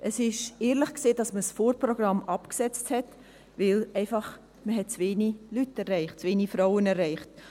Es war ehrlich, dass man das Vorprogramm absetzte, denn man hat einfach zu wenig Leute, zu wenig Frauen erreicht.